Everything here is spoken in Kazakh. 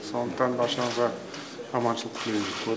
сондықтан баршаңызға аманшылық тілеймін